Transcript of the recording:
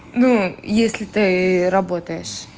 ну если ты работаешь